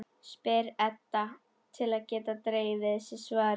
spyr Edda til að geta dregið við sig svarið.